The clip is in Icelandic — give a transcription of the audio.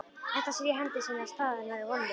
Edda sér í hendi sinni að staða hennar er vonlaus.